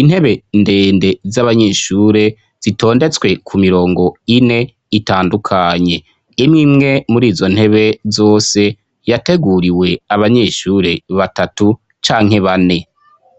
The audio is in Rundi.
Intebe ndende z'abanyeshure zitondetswe ku mirongo ine itandukanye. Imwe imwe murizo ntebe zose, yateguriwe abanyeshure batatu canke bane.